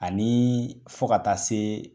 Ani fo ka taa se